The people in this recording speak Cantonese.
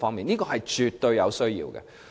這是絕對有需要的。